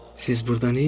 Siz burda neyləyirsiz?